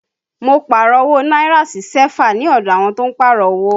Mo Pààrọ̀ owó náírà sí sẹ́fà ní ọdọ àwọn tó ń Pààrọ̀ owó